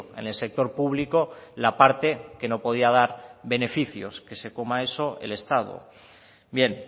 en el sector público la parte que no podía dar beneficios que se coma eso el estado bien